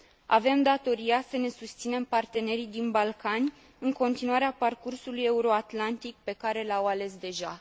Avem datoria să ne susținem partenerii din Balcani în continuarea parcursului euroatlantic pe care l au ales deja.